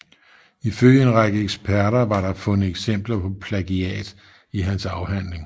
Ifølge en række eksperter var der fundet eksempler på plagiat i hans afhandling